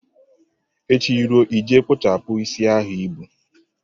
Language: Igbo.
Echi ruo, ị je kpụchapụ isi a i bu.